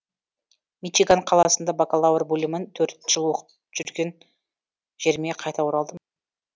мичиган қаласында бакалавр бөлімін төрт жыл оқып түған жеріме қайта оралдым